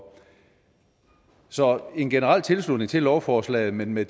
så en generel tilslutning til lovforslaget men med